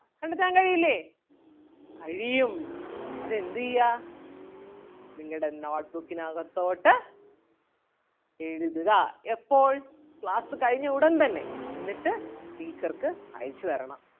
കണ്ടെത്താൻ കഴിയില്ലേ കഴിയും അത് എന്ത് ചെയ്യാ നിങ്ങടെ note book നകത്തോട്ട് എഴുതുക എപ്പോൾ class കഴിഞ്ഞ ഉടൻ തന്നെ എന്നിട്ട് teacher ക്ക് അയച്ച് തരണം.